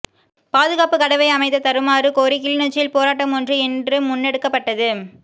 பாதுகாப்பு கடவை அமைத்த தருமாறு கோரி கிளிநொச்சியில் போராட்டம் ஒன்று இன்று முன்னெடுக்கப்பட்டது